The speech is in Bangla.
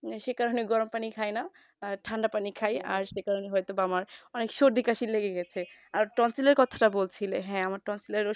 সেই কারণে গরম পানি খাই না ঠান্ডা পানি খায় সে কারণে হয়তো বা আমার সর্দি কাশি লেগে গেছে এর কথা বলছিলে হ্যাঁ ওটা ফুলে গেছে